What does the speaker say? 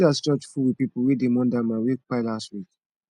see as church full with pipo wey dey mourn dat man wey kpai last week